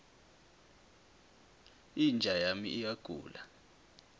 inja yami iyagula